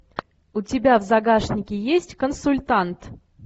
у тебя в загашнике есть консультант